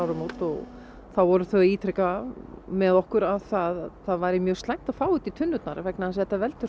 áramót og þá voru þau að ítreka með okkur það að það væri mjög slæmt að fá þetta í tunnurnar vegna þess að þetta veldur